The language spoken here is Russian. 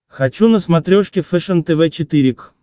хочу на смотрешке фэшен тв четыре к